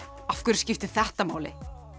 af hverju skiptir þetta máli